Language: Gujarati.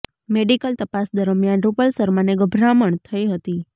મેડિકલ તપાસ દરમિયાન રૂપલ શર્માને ગભરામણ થઈ હતી